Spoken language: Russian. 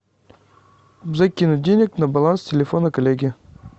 закинуть денег на баланс телефона коллеги